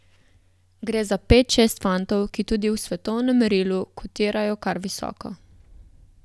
Gre za pet, šest fantov, ki tudi v svetovnem merilu kotirajo kar visoko.